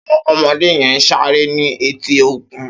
Áwòn òmòdé yèn sàré ni éti ókún